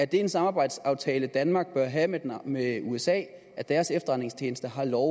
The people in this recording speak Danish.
det en samarbejdsaftale danmark bør have med usa at deres efterretningstjenester har lov